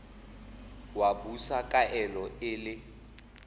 wa busa kaelo e le